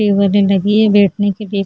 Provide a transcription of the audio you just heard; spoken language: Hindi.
टेबले लगी है बैठने के लिए --